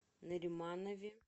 нариманове